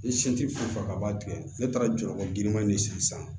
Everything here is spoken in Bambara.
I se tɛ fɛn o fɛn ka ban tigɛ ne taara jɔyɔrɔ girinman de sigi san